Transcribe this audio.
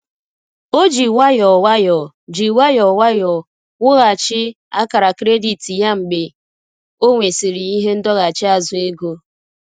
O ji nwayọọ nwayọọ ji nwayọọ nwayọọ wughachi akara kredit ya mgbe ọ nwesịrị ihe ndọghachi azụ ego.